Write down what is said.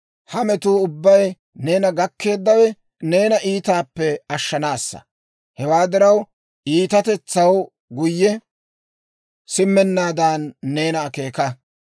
Ha metuu ubbay neena gakkeeddawe, neena iitaappe ashshanaassa. Hewaa diraw, iitatetsaw guyye simmennaadan neena akeeka.